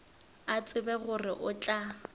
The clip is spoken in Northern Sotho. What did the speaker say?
a tsebe gore o tla